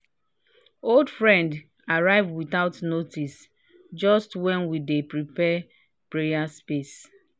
old friend arrive without noticejust when we dey prepare prayer space